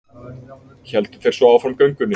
Héldu þeir svo áfram göngunni.